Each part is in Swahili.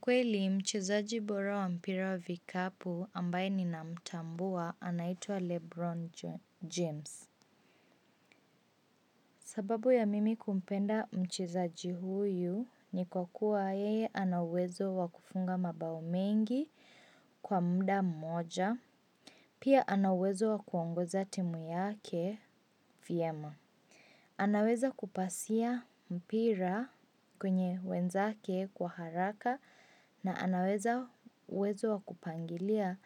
Kweli mchezaji bora wa mpira wa vikapu ambaye ninamtambua anaitwa lebron james. Sababu ya mimi kumpenda mchezaji huyu ni kwa kuwa yeye ana uwezo wa kufunga mabao mengi kwa muda mmoja. Pia ana uwezo wa kuongoza timu yake vizuri. Anaweza kupasia mpira kwa wenzake kwa haraka na ana uwezo wa kupanga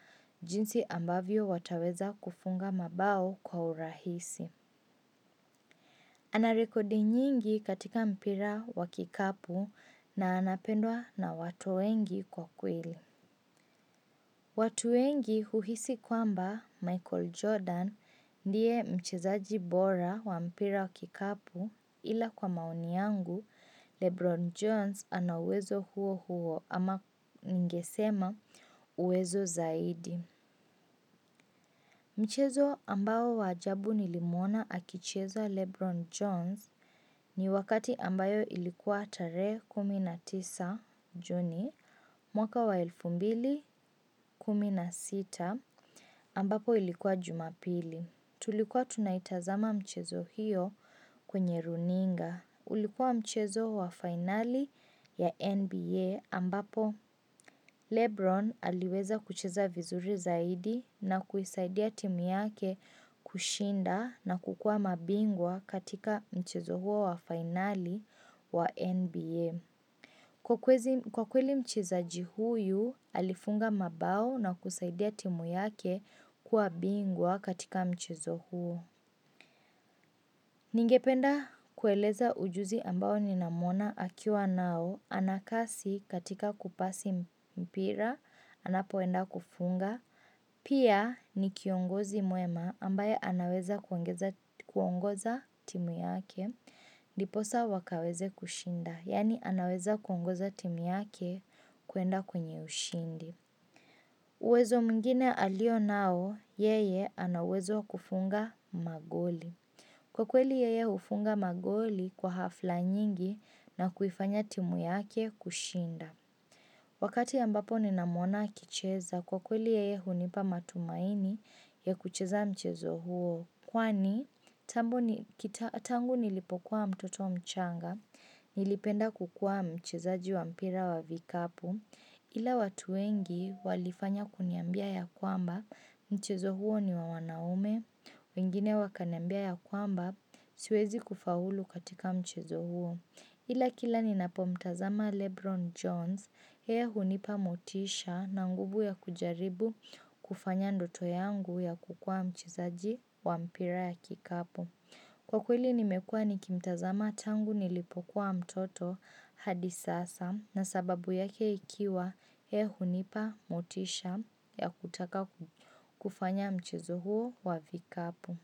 jinsi ambavyo wataweza kufunga mabao kwa urahisi. Ana rekodi nyingi katika mpira wa kikapu na anapendwa na watu wengi kwa kweli. Watu wengi huhisi kwamba Michael Jordan ndiye mcheza bora wa mpira wa kikapu ila kwa maoni yangu LeBron Jones anuwezo huo huo ama ningesema uwezo zaidi. Mchezo ambao wa ajabu nilimwona akicheza Lebron Jones ni wakati ambayo ilikuwa tare kumi na tisa juni mwaka wa elfu mbili kumi na sita ambapo ilikuwa jumabili. Tulikuwa tunaitazama mchezo hiyo kwenye runinga. Ulikuwa mchezo wa finali ya NBA ambapo, Lebron aliweza kucheza vizuri zaidi na kuisaidia timu yake kushinda na kukua mabingwa katika mchezo huo wa finali wa NBA. Kwa kweli mchezaji huyu alifunga mabao na kusaidia timu yake kuwa bingwa katika mchezo huo. Ningependa kueleza ujuzi ambao ninamwona akiwa nao anakasi katika kupasi mpira anapoenda kufunga. Pia ni kiongozi mwema ambaye anaweza kuongoza timu yake ndiposa wakaweze kushinda. Yani anaweza kuongoza timu yake kuenda kwenye ushindi. Uwezo mwingine alio nao yeye ana uwezo wa kufunga magoli. Kwa kweli yeye hufunga magoli kwa hafla nyingi na kuifanya timu yake kushinda. Wakati ambapo nina mwona akicheza, kwa kweli yeye hunipa matumaini ya kucheza mchezo huo. Kwani, tangu nilipokuwa mtoto mchanga, nilipenda kukua mchezaji wa mpira wa vikapu, ila watu wengi walifanya kuniambia yakwamba mchezo huo ni wa wanaume, wengine wakanambia ya kwamba siwezi kufaulu katika mchezo huo. Ila kila ninapo mtazama Lebron Jones, hea hunipa motisha na nguvu ya kujaribu kufanya ndoto yangu ya kukua mchezaji wa mpira ya kikapu. Kwa kweli nimekua nikimtazama tangu nilipokuwa mtoto hadi sasa na sababu yake ikiwa yeye hunipa motisha ya kutaka kufanya mchezo huo wa vikapu.